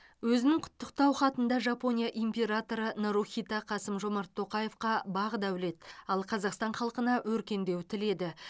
өзінің құттықтау хатында жапония императоры нарухито қасым жомарт тоқаевқа бақ дәулет ал қазақстан халқына өркендеу тіледі